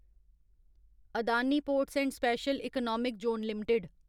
Adani ports and special economic zone limited